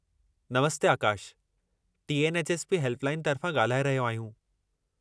नमस्ते! Akash T. N. H. S. P. Helpline तर्फ़ां ॻाल्हाए रहिया आहियूं।